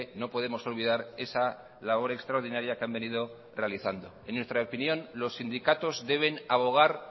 no podemos olvidar esa labor extraordinaria que han venido realizando en nuestra opinión los sindicatos deben abogar